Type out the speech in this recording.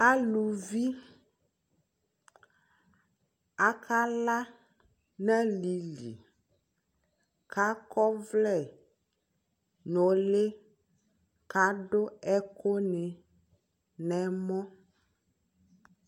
Aluvi akala n'alili , k'akɔvlɛ n'ʋlɩ , k'adʋ ɛkʋnɩ n'ɛmɔ